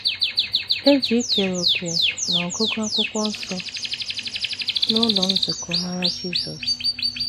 E ji ikere òkè n’ọgụgụ Akwụkwọ Nsọ n’ụlọ nzukọ mara Jisọs